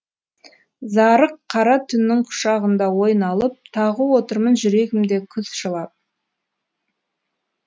зарыққара түннің құшағында ой налып тағы отырмын жүрегімде күз жылап